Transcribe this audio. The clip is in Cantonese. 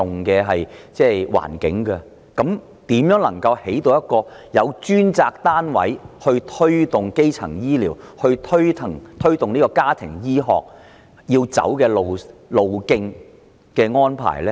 如此一來，試問如何貫徹由一個專責單位推動基層醫療及家庭醫學的方針？